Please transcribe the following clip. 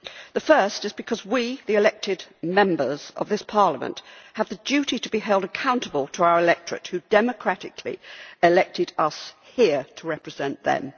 The first is because we, the elected members of this Parliament, have the duty to be held accountable to our electorate who democratically elected us here to represent them.